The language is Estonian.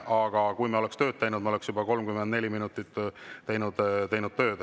Aga kui me oleksime tööd teinud, siis me oleksime juba 34 minutit teinud tööd.